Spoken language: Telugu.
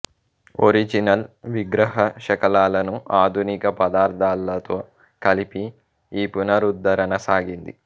ఒరిజినల్ విగ్రహ శకలాలను ఆధునిక పదార్థాలతో కలిపి ఈ పునరుద్ధరణ సాగింది